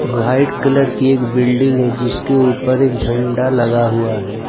White colour की एक building है जिसके ऊपर एक झंडा लगा हुआ है।